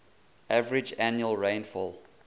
average annual rainfall